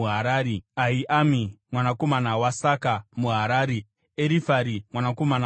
Ahiami mwanakomana waSaka muHarari, Erifari mwanakomana waUri,